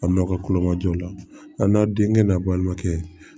A n'a ka kolo majɔ la a n'a denkɛ n'a balimakɛ